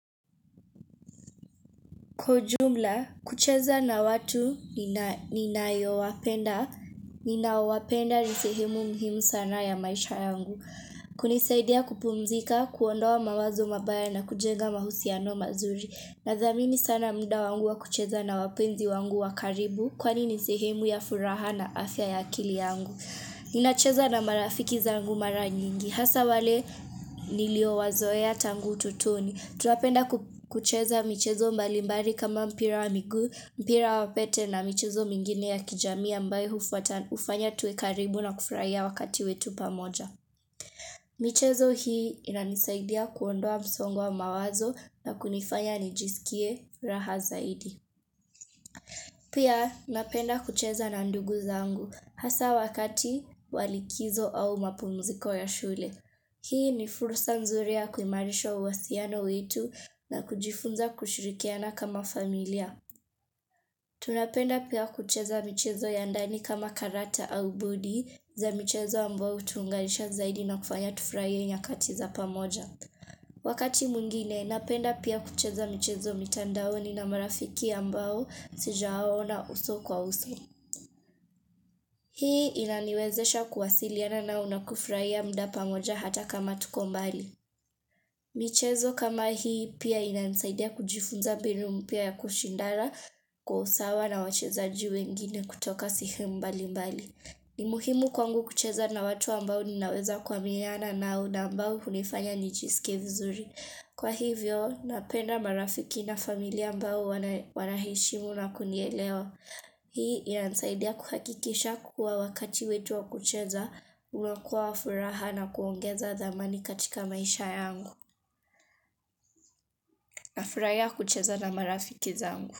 Kwa ujumla, kucheza na watu ninao wapenda ni sehemu muhimu sana ya maisha yangu. Kunisaidia kupumzika, kuondoa mawazo mabaya na kujenga mahusiano mazuri. Nathamini sana muda wangu wa kucheza na wapenzi wangu wakaribu kwani ni sehemu ya furaha na afya ya akili yangu. Ninacheza na marafiki zangu mara nyingi, hasa wale niliowazoea tangu utotoni. Tunapenda kucheza michezo mbalimbali kama mpira wa miguu mpira wa pete na michezo mingine ya kijamii ambayo hufanya tuwe karibu na kufurahia wakati wetu pamoja. Michezo hii inanisaidia kuondoa msongo wa mawazo na kunifanya nijisikie raha zaidi. Pia napenda kucheza na ndugu zangu hasa wakati walikizo au mapumuziko ya shule. Hii ni fursa nzuri ya kuimarisha uhusiano wetu na kujifunza kushirikiana kama familia. Tunapenda pia kucheza michezo ya ndani kama karata au budi za michezo ambao hutuunganisha zaidi na kufanya tufurahie nyakati za pamoja. Wakati mwingine, napenda pia kucheza michezo mitandao na marafiki ambao sijawaona uso kwa uso. Hii inaniwezesha kuwasiliana na nakufurahia muda pamoja hata kama tuko mbali. Michezo kama hii pia inansaidia kujifunza binu mpya ya kushindana kwa usawa na wachezaji wengine kutoka sehemu mbali mbali. Nimuhimu kwangu kucheza na watu ambao ninaweza kuaminiana nao na ambao hunifanya nijisikie vizuri. Kwa hivyo, napenda marafiki na familia ambao wanaheshimu na kunielewa. Hii inanisaidia kuhakikisha kuwa wakati wetu wa kucheza, unakuwa wa furaha na kuongeza dhamani katika maisha yangu. Nafurahia kucheza na marafiki zangu.